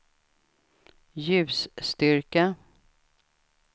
ljusstyrka